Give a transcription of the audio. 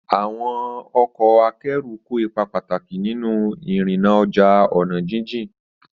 Àwọn ọkọ̀ akẹ́rù kó ipa pàtàkì nínú ìrìnnà ọjà ọ̀nà jíjìn.